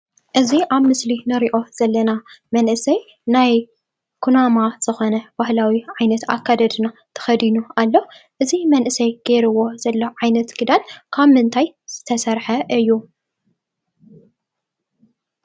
እዚ ኣብ ምስሊ ንርእዮ ዘለና መንእሰይ ናይ ኩናማ ዝኾነ ባሃላዊ ዓይነት ኣከዳድና ተኸዲኑ ኣሎ። እዚ መንእሰይ ጌርዎ ዘሎ ዓይነት ክዳን ካብ ምንታይ ዝተሰረሐ እዩ?